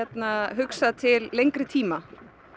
hugsað til lengri tíma